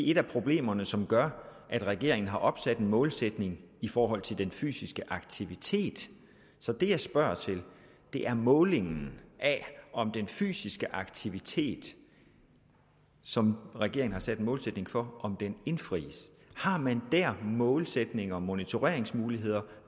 et af problemerne som gør at regeringen har opsat en målsætning i forhold til den fysiske aktivitet så det jeg spørger til er om målingen af den fysiske aktivitet som regeringen har sat en målsætning for indfries har man der målsætninger og monitoreringsmuligheder